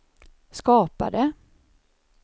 skapade